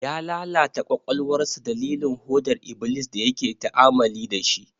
Ya lalata kwakwalwarsa dalilin hodar iblis da yake ta'amali da shi.